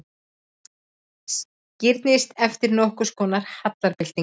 Skírnis eftir nokkurskonar hallarbyltingu.